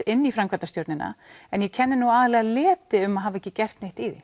inn í framkvæmdastjórnina en ég kenni nú aðallega leti um að hafa ekki gert neitt í því